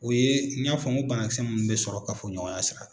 O ye n y'a fɔ ko banakisɛ mun bɛ sɔrɔ kafoɲɔgɔnya sirafɛ.